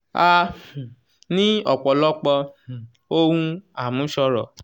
"a um ní ọ̀pọ̀lọpọ̀ um ohun àmúṣọrọ̀.